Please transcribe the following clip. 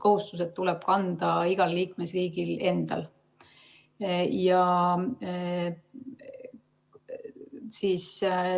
Kohustused tuleb kanda igal liikmesriigil endal.